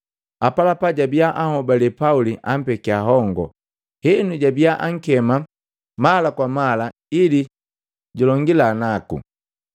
Apalapa jabiya anhobalee Pauli ampekia hongo. Henu jabiya ankema mala kwa mala ili julongila naku.